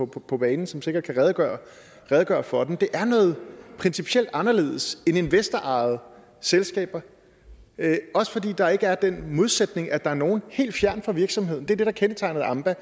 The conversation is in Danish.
på på banen som sikkert kan redegøre redegøre for den det er noget principielt anderledes end investorejede selskaber også fordi der ikke er den modsætning at der er nogle helt fjernt fra virksomheden det er det der kendetegner et amba